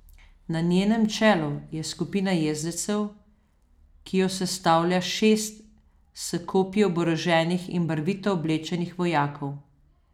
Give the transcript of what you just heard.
Na njenem čelu je skupina jezdecev, ki jo sestavlja šest s kopji oboroženih in barvito oblečenih vojakov.